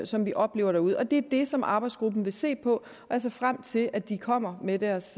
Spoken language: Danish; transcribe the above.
som vi oplever derude det er det som arbejdsgruppen vil se på og jeg ser frem til at de kommer med deres